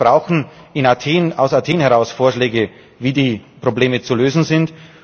Wir brauchen aus Athen heraus Vorschläge, wie die Probleme zu lösen sind.